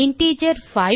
integer 5